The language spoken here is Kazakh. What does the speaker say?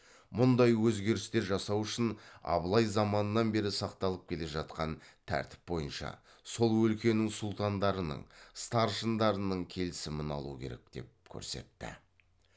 мұндай өзгерістер жасау үшін абылай заманынан бері сақталып келе жатқан тәртіп бойынша сол өлкенің сұлтандарының старшындарының келісімін алу керек деп көрсетті